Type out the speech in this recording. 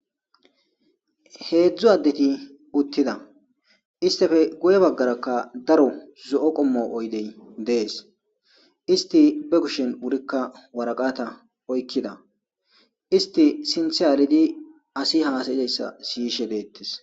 Hedzdzu adethi uthithida. Isteppe guyebagarakka daro zo'o kommo oydey de'es. Isti bekushen wurikka warakkatha oykkida. Isthi sinththe aliddi asii hasayiyaysa siyishe de'eththes.